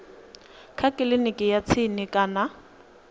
kha kiliniki ya tsini kana